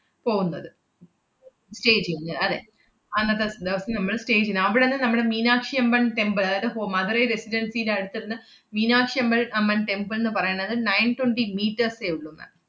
പോവുന്നത് stay ചെയ്യുന്നെ അതെ. അന്നത്തെ ദെവസം നമ്മള് stay ചെയ്യുന്നെ. അവടന്ന് നമ്മള് മീനാക്ഷിയമ്പൻ temple അതായത് ho~ മധുരൈ റെസിഡൻസിടെ അടുത്ത്ന്ന് മീനാക്ഷിയമ്പ~ അമ്മൻ temple ന്ന് പറയണത് nine twenty meters ഏ ഉള്ളൂ ma'am